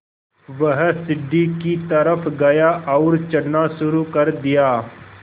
वह सीढ़ी की तरफ़ गया और चढ़ना शुरू कर दिया